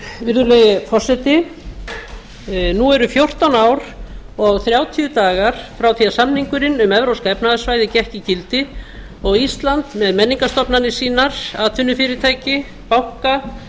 virðulegi forseti nú eru fjórtán ár og þrjátíu dagar frá því að samningurinn um evrópska efnahagssvæðið gekk í gildi og ísland með menningarstofnanir sínar atvinnufyrirtæki banka